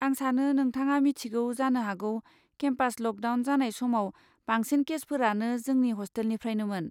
आं सानो नोंथाङा मिथिगौ जानो हागौ केम्पास लकडाउन जानाय समाव, बांसिन केसफोरानो जोंनि हस्टेलनिफ्रायनोमोन।